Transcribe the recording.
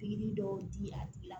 Pikiri dɔw di a tigi la